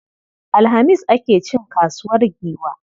Alhamis ake cin kasuwar Giwa.